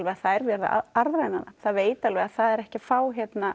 að það er verið að arðræna það það veit alveg að það er ekki að fá